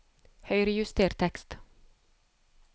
Høyrejuster tekst